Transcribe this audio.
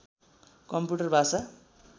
computer भाषा